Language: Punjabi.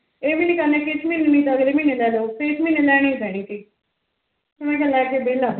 ਇਹ ਵੀ ਨੀ ਕਰਨੀ ਕਿ ਇਸ ਮਹੀਨੇ ਨੀ ਅਗਲੇ ਮਹੀਨੇ ਲੈਲੋ ਫਿਰ ਇਸ ਮਹੀਨੇ ਲੈਣੀ ਪੈਂਣੀ ਤੀ ਮੈ ਕਿਹਾ ਲੈਕੇ